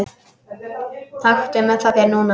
Taktu það með þér núna!